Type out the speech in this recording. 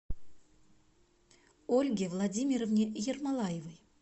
ольге владимировне ермолаевой